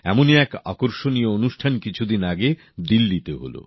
এমনই এক আকর্ষণীয় অনুষ্ঠান কিছু দিন আগে দিল্লীতে হল